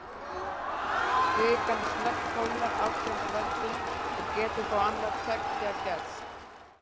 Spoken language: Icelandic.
Kvikan snöggkólnar af þeim völdum og getur þá annað tveggja gerst.